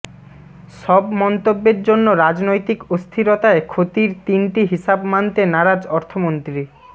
সব মন্তব্যের জন্য রাজনৈতিক অস্থিরতায় ক্ষতির তিনটি হিসাব মানতে নারাজ অর্থমন্ত্রী